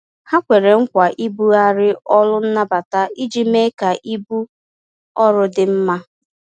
Ha kwere nkwa ibughari ọrụ nnabata iji mee ka ibu ọrụ dị mma